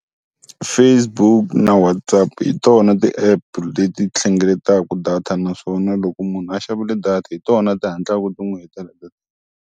Facebook na WhatsApp hi tona ti-app leti hlengeletaka data naswona loko munhu a xavile data hi tona ti hatlaka ti n'wi hetela .